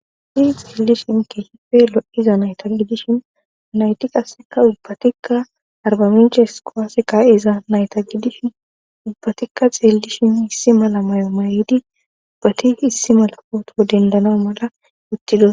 Ha xeellishin kehipe lo7iza nayta gidishin nayti qasseka ubbatikka arbaminchehes qawaaseka iza nayta gidishin ubbatikka xeellishin hissi mala mayo mayedi ubbati issi mala pooto dendana mala uttido.